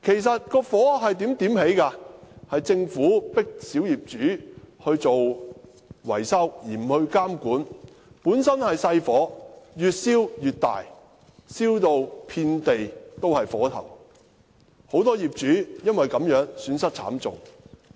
是政府迫令小業主進行維修，卻不加以監管所致，本來只是小火，卻越燒越大，燒至遍地火頭，很多業主因而損失慘重。